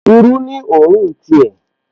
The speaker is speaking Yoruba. Irú ní òórùn ti ẹ̀